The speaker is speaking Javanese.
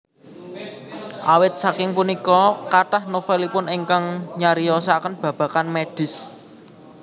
Awit saking punika kathah novelipun ingkang nyariyosaken babagan medis